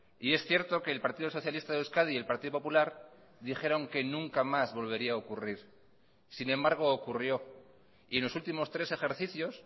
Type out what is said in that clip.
y es cierto que el partido socialista de euskadi y el partido popular dijeron que nunca más volvería a ocurrir sin embargo ocurrió y en los últimos tres ejercicios